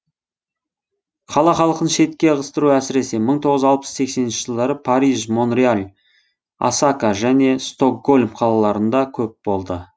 қала халқын шетке ығыстыру әсіресе мың тоғыз жүз алпыс сексенінші жылдары париж монреал осака және стокгольм қалаларында көп болды